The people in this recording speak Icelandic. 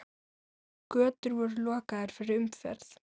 Götur voru lokaðar fyrir umferð.